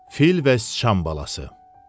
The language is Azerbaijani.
Fil və sıçan balası.